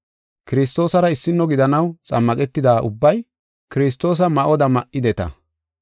Kiristoosara issino gidanaw xammaqetida ubbay Kiristoosa ma7oda ma7ideta.